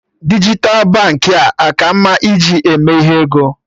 Dijital Baankị a ka mma ị ji eme ihe ego?